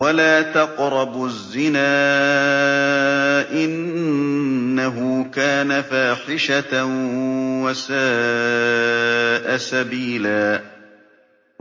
وَلَا تَقْرَبُوا الزِّنَا ۖ إِنَّهُ كَانَ فَاحِشَةً وَسَاءَ سَبِيلًا